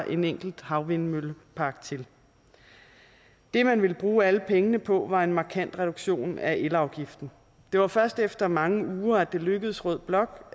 en enkelt havvindmøllepark til det man ville bruge alle pengene på var en markant reduktion af elafgiften og det var først efter mange uger at det lykkedes rød blok